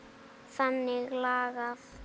Þannig lagað.